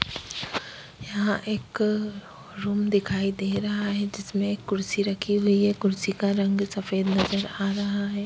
यहाँ एक रूम दिखाई दे रहा है जिसमें एक कुर्सी रखी हुई है कुर्सी का रंग सफेद नजर आ रहा है।